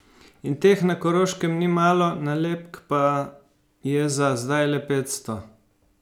In teh na Koroškem ni malo, nalepk pa je za zdaj le petsto.